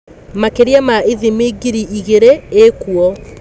Makĩria ma ithimi ngiri igĩrĩ ikuo.